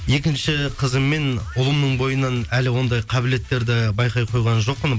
екінші қызым мен ұлымның бойынан әлі ондай қабілеттерді байқай қойған жоқпын